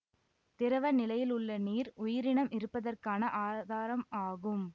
திரவ நிலையில் உள்ள நீர் உயிரினம் இருப்பதற்கான ஆதாரம் ஆகும்